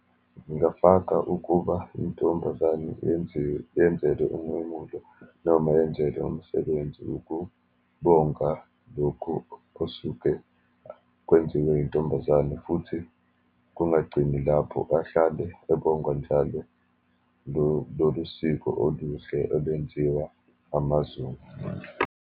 Ngingafaka ukuba intombazane yenziwe, yenzelwe umemulo, noma yenzelwe umsebenzi ukubonga lokhu osuke kwenziwe yintombazane, futhi kungagcini lapho, ahlale ebongwa njale lolusiko oluhle olwenziwa amaZulu.